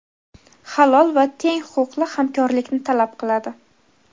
halol va teng huquqli hamkorlikni talab qiladi.